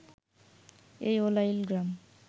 এই উলাইল গ্রাম